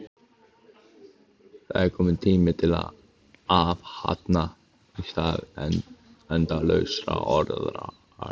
Það er kominn tími til athafna í stað endalausra orða.